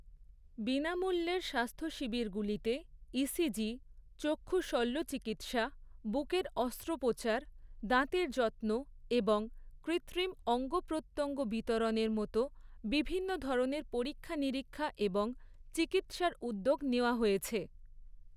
বিনামূল্যের স্বাস্থ্য শিবিরগুলিতে ইসিজি, চক্ষু শল্যচিকিৎসা, বুকের অস্ত্রোপচার, দাঁতের যত্ন এবং কৃত্রিম অঙ্গপ্রত্যঙ্গ বিতরণের মতো বিভিন্ন ধরনের পরীক্ষা নিরীক্ষা এবং চিকিৎসার উদ্যোগ নেওয়া হয়েছে।